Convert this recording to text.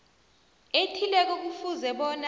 ethileko kufuze bona